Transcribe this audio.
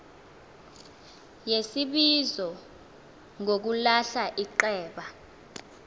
yesibizo ngokulahla iceba